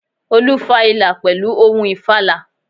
Olú fa ìlà pèlú ohun ìfàlà